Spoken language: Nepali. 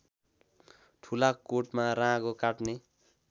ठुलाकोटमा राँगो काट्ने